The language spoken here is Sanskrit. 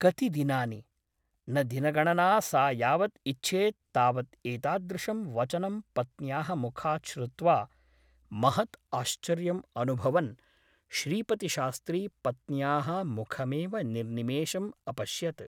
कति दिनानि ? न दिनगणना सा यावत् इच्छेत् तावत् एतादृशं वचनं पत्न्याः मुखात् श्रुत्वा महत् आश्चर्यम् अनुभवन् श्रीपतिशास्त्री पत्न्याः मुखमेव निर्निमेषम् अपश्यत् ।